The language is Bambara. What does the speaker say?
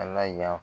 Ala y'a